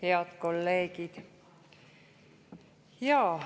Head kolleegid!